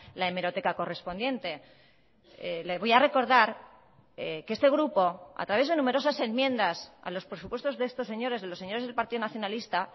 la hemeroteca correspondiente le voy a recordar que este grupo a través de numerosas enmiendas a los presupuestos de estos señores de los señores del partido nacionalista